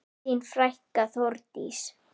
Þín frænka, Þórdís.